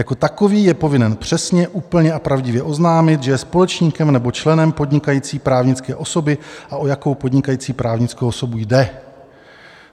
Jako takový je povinen přesně, úplně a pravdivě oznámit, že je společníkem nebo členem podnikající právnické osoby a o jakou podnikající právnickou osobu jde.